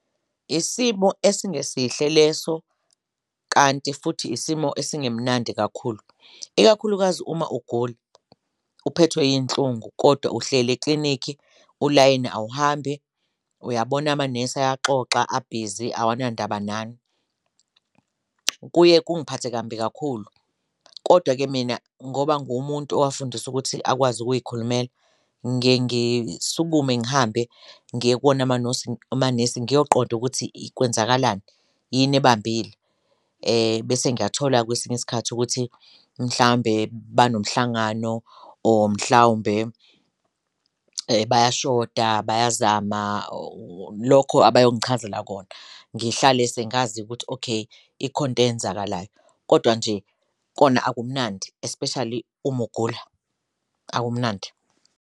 Isimo esingesihle leso kanti futhi isimo esingemnandi kakhulu, ikakhulukazi uma ugula uphethwe iyinhlungu kodwa uhleli eklinikhi ulayini awuhambi uyabona amanesi ayaxoxa abhizi awanandaba nani, kuye kungiphathe kambi kakhulu kodwa-ke mina ngoba nguwumuntu owakufundiswa ukuthi akwazi ukuyikhulumela. Ngiye ngisukume ngihambe ngiye kuwona amanesi ngiyaqonda ukuthi kwenzakalani, yini ebambile bese ngiyathola kwesinye isikhathi ukuthi mhlawumbe banomhlangano or mhlawumbe bayashoda, bayazama lokho abayongichazela kona. Ngihlale sengazi ukuthi okay, ikhona into eyenzakalayo kodwa nje kona akumnandi, especially uma ugula akumnandi.